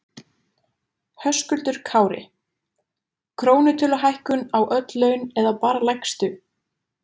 Höskuldur Kári: Krónutöluhækkun á öll laun eða bara lægstu?